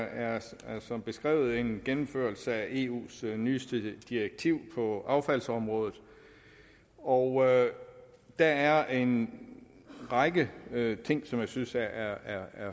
er som beskrevet en gennemførelse af eus nyeste direktiv på affaldsområdet og der er en række ting som jeg synes er